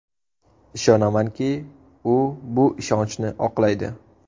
Ishonamanki, u bu ishonchni oqlaydi”.